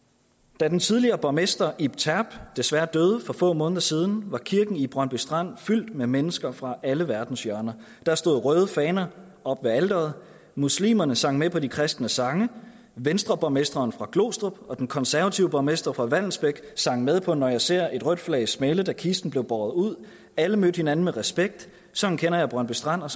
da den tidligere borgmester ib terp desværre døde for få måneder siden var kirken i brøndby strand fyldt med mennesker fra alle verdenshjørner der stod røde faner oppe ved alteret muslimerne sang med på de kristne sange venstreborgmesteren fra glostrup og den konservative borgmester fra vallensbæk sang med på når jeg ser et rødt flag smælde da kisten blev båret ud alle mødte hinanden med respekt sådan kender jeg brøndby strand og